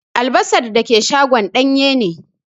Albasa dake shagon danye ne.